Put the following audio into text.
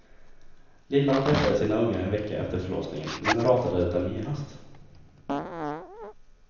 Lillan träffade sina ungar en vecka efter förlossningen men ratade dem genast.